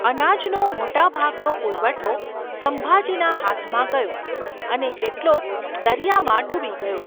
અનાજનો મોટાભાગનો પુરવઠો સંભાજીના હાથમાં ગયો અને કેટલોક દરિયામાં ડૂબી ગયો.